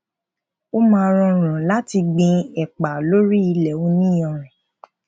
ó máa rọrùn láti gbin èpà lórí ilè oní iyanrìn